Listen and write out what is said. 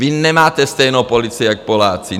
Vy nemáte stejnou pozici jak Poláci.